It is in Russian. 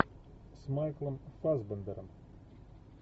с майклом фассбендером